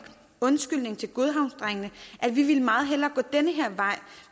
undskyldningen til godhavnsdrengene at vi meget hellere